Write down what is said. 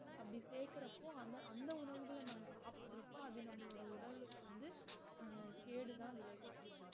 அப்படி சேர்க்கற அப்போ அந்த அந்த உணவுகள் நம்ம சாப்டருப்போம் அது நம்மளுட உடலுக்கு வந்து அஹ் கேடு தான் விளைவிக்கும்